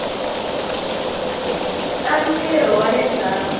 ta ntirho wa le ndzhaku